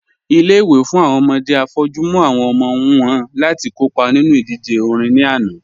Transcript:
Ilé-ìwé fún awọn ọmọdé afọ́jù mú awọn ọmọ wọn láti kọ́pa nínu idíjè orin ní ànà